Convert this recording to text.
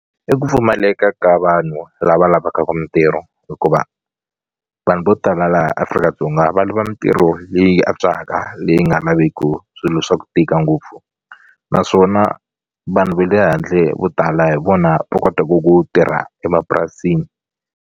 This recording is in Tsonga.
I ku pfumaleka ka vanhu lava lavaka ka mintirho hikuva vanhu vo tala laha Afrika-Dzonga va lava mintirho leyi antswaka leyi nga laveku swilo swa ku tika ngopfu naswona vanhu va le handle vo tala hi vona va kotaku ku tirha emapurasini.